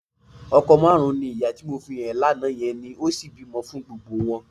Ọkọ márùn-ún ni ìyá tí mo fi hàn ẹ́ lánàá yẹn ní, ó sì bímọ fún gbogbo wọn.